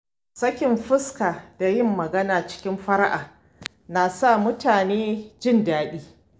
Sakin fuska da yin magana cikin fara’a na sa mutane jin daɗi.